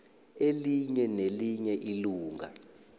elinye nelinye ilunga